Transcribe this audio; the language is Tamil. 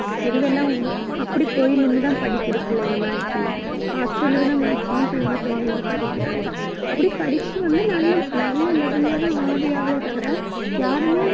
எங்கெல்லாம் அப்படி போய் நின்னுதான் படிக்குது, பிள்ளைங்க maximum hostel க்கு தான் maximum பிள்ளைங்க போய் நின்னு படிக்கிறாங்க. அப்படி படிச்சு வந்து நல்ல நல்ல level ல தான் ஆவி ஆவலே தவிர